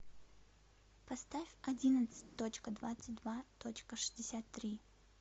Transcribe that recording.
поставь одиннадцать точка двадцать два точка шестьдесят три